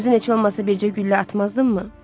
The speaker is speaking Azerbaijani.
Özün heç olmasa bircə güllə atmazdınmı?